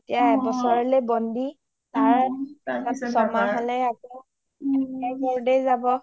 এতিয়া এবছৰলে বণ্ডি তাৰ চমাহ হলে আকৈ মুন দাৰ ঘৰতে যাব